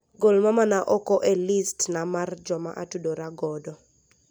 Gol mamana oko e listi na mar jomaatudora godo